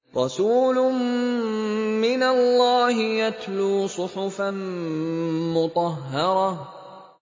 رَسُولٌ مِّنَ اللَّهِ يَتْلُو صُحُفًا مُّطَهَّرَةً